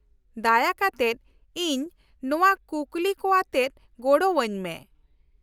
-ᱫᱟᱭᱟ ᱠᱟᱛᱮᱫ ᱤᱧ ᱱᱚᱶᱟ ᱠᱩᱠᱞᱤ ᱠᱚᱣᱟᱛᱮᱫ ᱜᱚᱲᱚᱣᱟᱹᱧ ᱢᱮ ᱾